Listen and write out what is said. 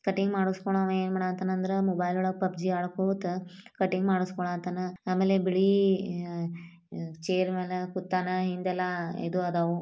Cutting ಮಾಡಿಸ್ಕೊಲ್ಲಾವ್ವ ಏನ್ ಮಾಡಾತ್ತಾನ ಅಂದ್ರ ಮೊಬೈಲ್ ಒಳಗ ಪಬ್ಜಿ ಅಡಕ್ಕೊತ ಕಟಿಂಗ್ ಮಾಡಸ್ಕೊತಾನ. ಆಮೇಲೆ ಬಿಳೀ ಅಹ್ ಚೇರ್ ಮ್ಯಾಲೆ ಕುತ್ತಾನ. ಹಿಂದೆಲ್ಲ ಇದು ಅದವು.